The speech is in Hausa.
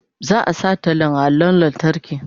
Za a sa tallan a allon lantarki.